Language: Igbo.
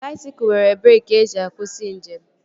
Baisikụl nwere breeki eji akwụsị njem